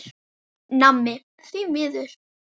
Nammi, því miður.